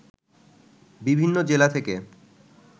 বিভিন্ন জেলা থেকে